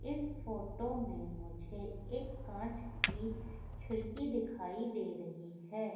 इस फोटो में मुझे एक कांच की खिड़की दिखाई दे रही है।